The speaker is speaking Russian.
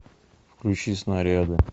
включи снаряды